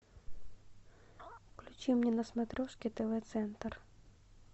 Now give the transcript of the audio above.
включи мне на смотрешке тв центр